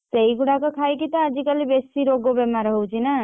ସେଇ ଗୁଡାକ ଖାଇକି ତ ଆଜି କାଲି ବେଶୀ ରୋଗ ବେମାର ହଉଛି ନା!